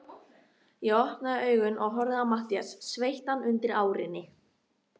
Ég opnaði augun og horfði á Matthías, sveittan undir árinni.